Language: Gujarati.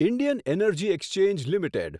Indian energy exchange limited